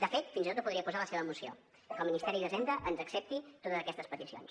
de fet fins i tot ho podria posar a la seva moció que el ministeri d’hisenda ens accepti totes aquestes peticions